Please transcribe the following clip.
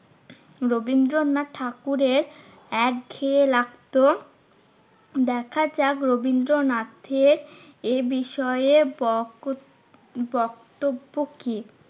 রবীন্দ্রনাথ ঠাকুরের একঘেয়ে লাগতো। দেখাযাক রবীন্দ্রনাথের এ বিষয়ে বক~ বক্তব্য কি?